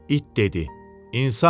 İt dedi: İnsan.